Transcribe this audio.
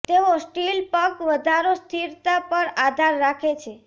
તેઓ સ્ટીલ પગ વધારો સ્થિરતા પર આધાર રાખે છે